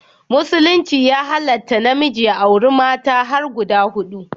Musulunci ya halatta namiji ya auri mata har guda hudu